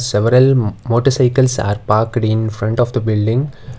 Several motorcycles are parked in front of the building.